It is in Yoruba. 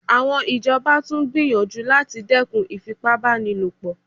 Àwọn ìjọba tún gbìyànjú láti dẹ́kun ìfipá báni lò pọ̀